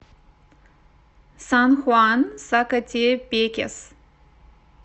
сан хуан сакатепекес